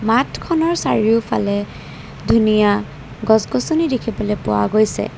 খনৰ চাৰিওফালে ধুনীয়া গছ-গছনি দেখিবলৈ পোৱা গৈছে।